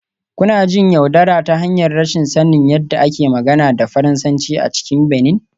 Kuna jin yaudara ta hanyar rashin sanin yadda ake magana da Faransanci a cikin Benin